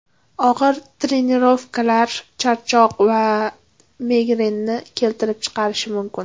Og‘ir trenirovkalar charchoq va migrenni keltirib chiqarishi mumkin.